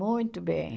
Muito bem.